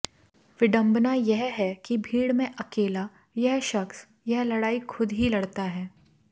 विडंबना यह है कि भीड़ में अकेला यह शख्स यह लड़ाई खुद ही लड़ता है